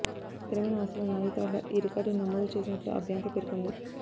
స్థిరమైన ఆస్తుల నాణ్యత వల్ల ఈ రికార్డును నమోదు చేసినట్లు ఆ బ్యాంకు పేర్కొంది